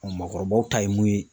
mɔgɔkɔrɔbaw ta ye mun ye.